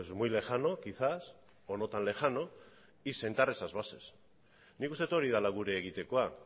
muy lejano quizás o no tan lejano y sentar esas bases nik uste dut hori dela gure egitekoa